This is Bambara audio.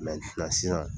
sisan